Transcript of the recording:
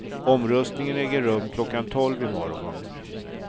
Omröstningen äger rum klockan tolv i morgon.